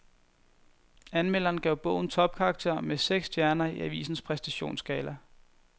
Anmelderen gav bogen topkarakter med seks stjerner i avisens præstationsskala.